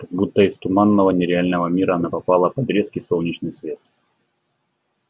как будто из туманного нереального мира она попала под резкий солнечный свет